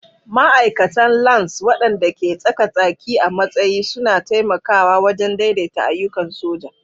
Ma'aikatan Lance, waɗanda ke tsaka-tsaki a matsayi, suna taimakawa wajen daidaita ayyukan soja.